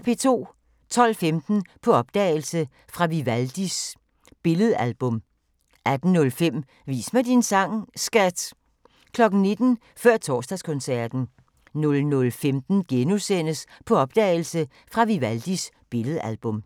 12:15: På opdagelse – Fra Vivaldis billedalbum 18:05: Vis mig din sang, skat! 19:00: Før Torsdagskoncerten 00:15: På opdagelse – Fra Vivaldis billedalbum *